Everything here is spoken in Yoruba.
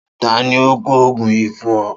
Ta ni ó ko ògùn yìí fún o?